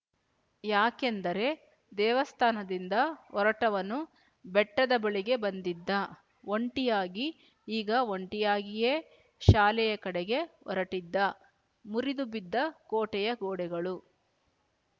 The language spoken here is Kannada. ಯಾಕೆಂದರೆ ದೇವಸ್ಥಾನದಿಂದ ಹೊರಟವನು ಬೆಟ್ಟದ ಬಳಿಗೆ ಬಂದಿದ್ದ ಒಂಟಿಯಾಗಿ ಈಗ ಒಂಟಿಯಾಗಿಯೇ ಶಾಲೆಯ ಕಡೆಗೆ ಹೊರಟಿದ್ದ ಮುರಿದು ಬಿದ್ದ ಕೊಟೆಯ ಗೋಡೆಗಳು